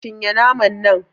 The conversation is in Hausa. Cin ye naman nan